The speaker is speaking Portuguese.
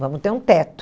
Vamos ter um teto.